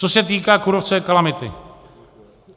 Co se týká kůrovcové kalamity.